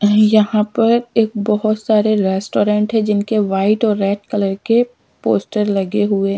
यहां पर एक बहुत सारे रेस्टोरेंट है जिनके वाइट और रेड कलर के पोस्टर लगे हुए हैं।